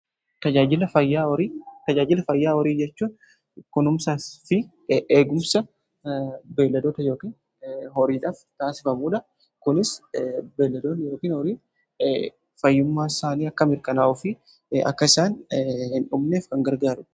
Tajaajila fayyaa horii jechuun kununsan fi eegumsa beeladoota ykn horiidhaaf taasifamuudha. kunis beeladoota yookiin horiin fayyumaa isaanii akka mirkanaa'uu fi akka isaan hin dhumneef kan gargaaru.